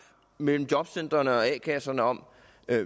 mellem jobcentrene og a kasserne om